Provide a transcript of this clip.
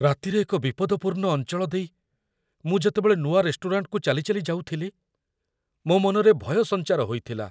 ରାତିରେ ଏକ ବିପଦପୂର୍ଣ୍ଣ ଅଞ୍ଚଳ ଦେଇ ମୁଁ ଯେତେବେଳେ ନୂଆ ରେଷ୍ଟୁରାଣ୍ଟକୁ ଚାଲି ଚାଲି ଯାଉଥିଲି ମୋ ମନରେ ଭୟ ସଞ୍ଚାର ହୋଇଥିଲା।